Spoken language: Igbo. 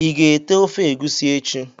Iga ete ofe egusi echi?